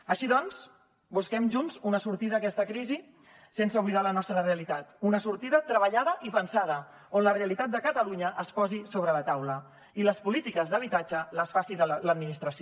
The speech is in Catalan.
així doncs busquem junts una sortida a aquesta crisi sense oblidar la nostra realitat una sortida treballada i pensada on la realitat de catalunya es posi sobre la taula i les polítiques d’habitatge les faci l’administració